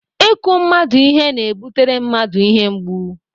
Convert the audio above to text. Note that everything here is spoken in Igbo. Ịkụ mmadụ ihe na-ebutere mmadụ ihe mgbu.